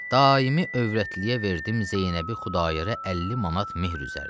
Daimi övrətliyə verdim Zeynəbi Xudayara 50 manat mehr üzərinə.